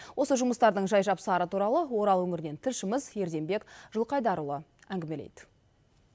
осы жұмыстардың жай жапсары туралы орал өңірінен тілшіміз ерденбек жылқыайдарұлы әңгімелейді